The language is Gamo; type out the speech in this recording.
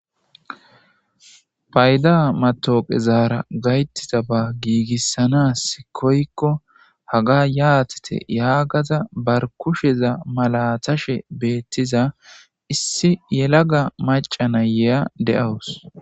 payda matooqe zaara gayttida ba giigissanas koykko haga yaatete yaagaza bar kusheza malatashe beettiza issi yelaga maca nayeya de7awus